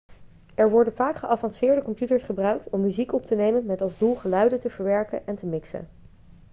er worden vaak geavanceerde computers gebruikt om muziek op te nemen met als doel geluiden te verwerken en te mixen